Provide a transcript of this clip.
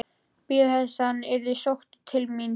Bíða þess að hann yrði sóttur til mín?